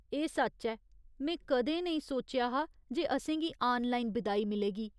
एह् सच्च ऐ, में कदें नेईं सोचेआ हा जे असेंगी आनलाइन बिदाई मिलेगी।